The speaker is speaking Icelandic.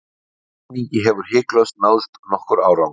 í þessum skilningi hefur hiklaust náðst nokkur árangur